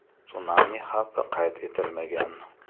Sunami xavfi qayd etilmagan.